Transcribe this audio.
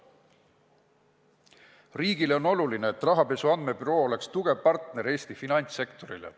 Riigile on oluline, et rahapesu andmebüroo oleks tugev partner Eesti finantssektorile.